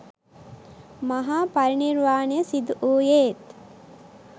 මහා පරිනිර්වාණය සිදු වූයේත්